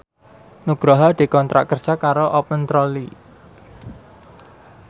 Nugroho dikontrak kerja karo Open Trolley